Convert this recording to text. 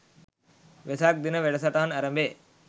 වෙසක් දින වැඩසටහන ඇරඹේ